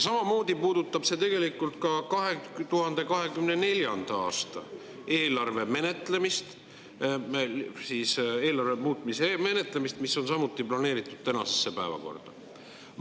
Samamoodi puudutab see tegelikult 2024. aasta eelarve muutmise menetlemist, mis on samuti planeeritud tänasesse päevakorda.